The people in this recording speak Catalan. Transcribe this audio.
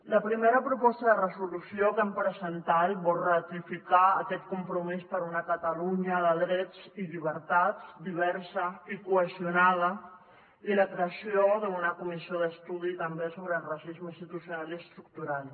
la primera proposta de resolució que hem presentat vol ratificar aquest compromís per una catalunya de drets i llibertats diversa i cohesionada i la creació d’una comissió d’estudi també sobre racisme institucional i estructural